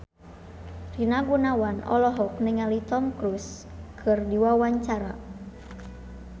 Rina Gunawan olohok ningali Tom Cruise keur diwawancara